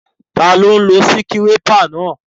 Taló n lo síkírépà náà?